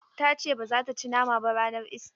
Ta ce ba za ta ci nama ba ranar ista.